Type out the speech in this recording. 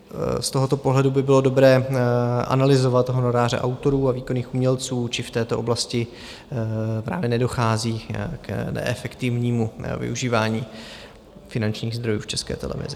Z tohoto pohledu by bylo dobré analyzovat honoráře autorů a výkonných umělců, či v této oblasti právě nedochází k neefektivnímu využívání finančních zdrojů v České televizi.